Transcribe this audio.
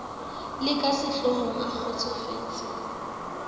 le ka sehlohong a kgotsofetse